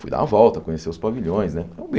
Fui dar uma volta, conhecer os pavilhões, né?